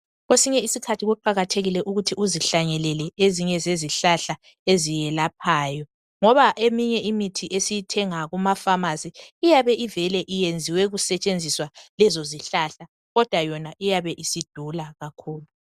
Kwesinye isikhathi kuqakathekile ukuthi uzihlanyelele ezinye zezihlahla eziyelaphayo ngoba eminye imithi esiyithenga kuma pharmacy iyabe ivele iyenziwe kusetshenziswa lezo zihlahla kodwa yona iyabe isidula kakhulu.